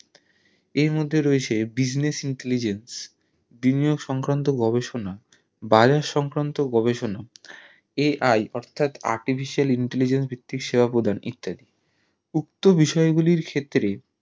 এর মধ্যে রয়েছে business intelligence বিনিয়োগ সংক্রান্ত গবেষণা bious সংক্রান্ত গবেষণা AI অর্থাৎ Artificial intelligence এর দ্বারা সেবা প্রদান ইত্যাদি উক্ত বিষয় গুলির ক্ষেত্রে